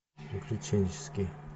приключенческий